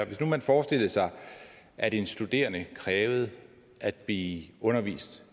hvis nu man forestillede sig at en studerende krævede at blive undervist